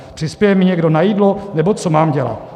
Přispěje mi někdo na jídlo, nebo co mám dělat?